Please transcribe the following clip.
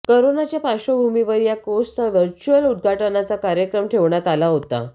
करोनाच्या पार्श्वभुमीवर या कोर्सचा वर्चुअल उद्घाटनाचा कार्यक्रम ठेवण्यात आला होता